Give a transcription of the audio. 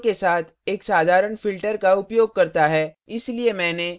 इसलिए मैंने यहाँ layer dialog खोल layer है